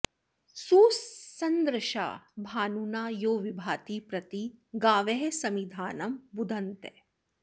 सु॒सं॒दृशा॑ भा॒नुना॒ यो वि॒भाति॒ प्रति॒ गावः॑ समिधा॒नं बु॑धन्त